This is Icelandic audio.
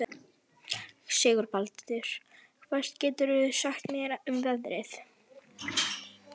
Sigurbaldur, hvað geturðu sagt mér um veðrið?